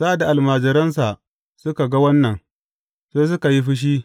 Sa’ad da almajiransa suka ga wannan, sai suka yi fushi.